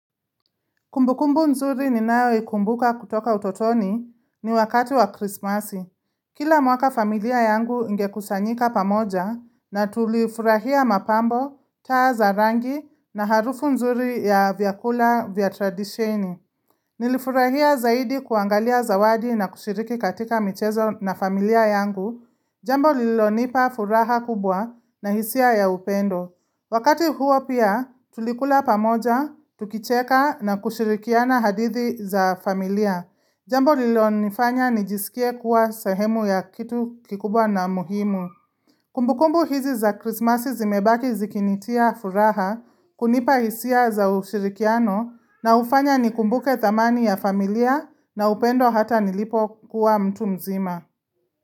Kumbukumbu nzuri ninayoikumbuka kutoka utotoni ni wakati wa krismasi. Kila mwaka familia yangu ingekusanyika pamoja na tulifurahia mapambo, taa za rangi na harufu nzuri ya vyakula vya tradisheni. Nilifurahia zaidi kuangalia zawadi na kushiriki katika michezo na familia yangu, jambo lilonipa furaha kubwa na hisia ya upendo. Wakati huo pia tulikula pamoja, tukicheka na kushirikiana hadithi za familia. Jambo lilonifanya nijisikie kuwa sahemu ya kitu kikubwa na muhimu. Kumbukumbu hizi za Christmas zimebaki zikinitia furaha, kunipa hisia za ushirikiano na hufanya nikumbuke thamani ya familia na upendo hata nilipokuwa mtu mzima.